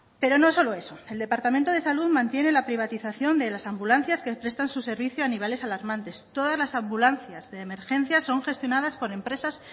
pero no solo eso el departamento de salud mantiene la privatización de las ambulancias que prestan su servicio a niveles alarmantes todas las ambulancias de emergencias son gestionadas por empresas